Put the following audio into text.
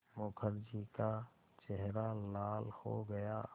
मुखर्जी का चेहरा लाल हो गया